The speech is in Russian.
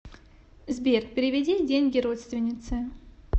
сбер переведи деньги родственнице